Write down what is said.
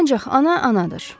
Ancaq ana anadır.